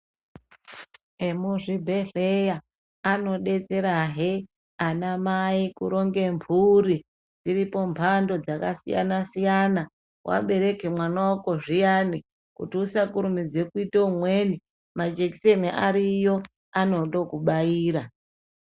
Emuzvibhedhleya anodetserahe anamai kuronge mburi dziripo mbando dzakasiyana siyana wabereka mwana wako zviyana kuti ysakurumidza kuita umweni majekiseni ariyo anondookubaira.